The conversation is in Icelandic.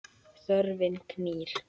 Þörfin knýr.